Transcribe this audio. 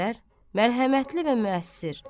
Xavər, mərhəmətli və müəssir.